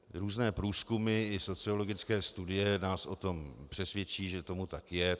Různé průzkumy i sociologické studie nás o tom přesvědčí, že tomu tak je.